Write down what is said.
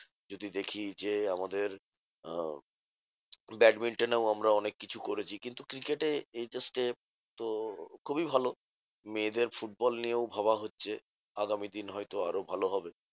যদি দেখি যে, আমাদের আহ ব্যাটমিন্টনেও আমরা অনেককিছু করেছি। কিন্ত cricket এ এই যা step তো খুবই ভালো। মেয়েদের ফুটবল নিয়েও ভাবা হচ্ছে। আগামী দিন হয়তো আরও ভালো হবে।